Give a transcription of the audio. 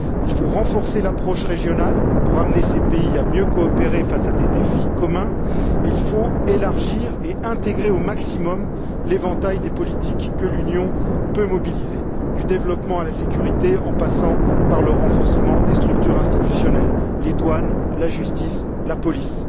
Il faut renforcer l'approche régionale pour amener ces pays à mieux coopérer face à des défis communs et il faut élargir et intégrer au maximum l'éventail des politiques que l'Union peut mobiliser, du développement à la sécurité, en passant par le renforcement des structures institutionnelles, les douanes, la justice, la police.